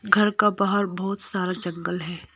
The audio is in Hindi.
घर का बाहर बहुत सारा चक्कल है।